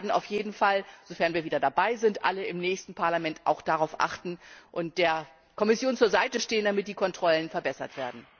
Wir werden auf jeden Fall, sofern wir wieder dabei sind, alle im nächsten Parlament auch darauf achten und der Kommission zur Seite stehen, damit die Kontrollen verbessert werden.